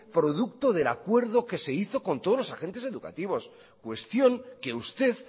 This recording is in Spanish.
producto del acuerdo que se hizo con todos los agentes educativos cuestión que usted